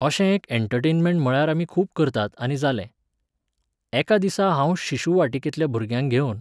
अशे एक एँटरटेनमेंट म्हळ्यार आमी खूब करतात आनी जालें. एका दिसा हांव शिशू वाटिंकेंतल्या भुरग्यांक घेवन